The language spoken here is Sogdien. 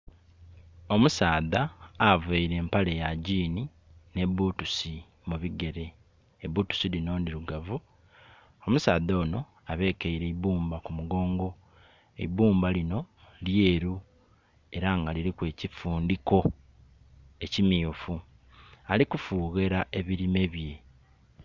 Omusaadha aveire empale ya jiini ni butusi mu bigere. Ebutusi dhino ndhirugavu. Omusaadha ono abekeire eibumba ku mugongo, eibumba lino lyeru era nga liriku ekifundiko ekimyufu, ali kufughera ebirime bye.